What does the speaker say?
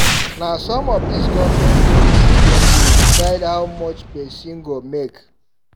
Na some of dis government policy dem dey decide how much pesin go make.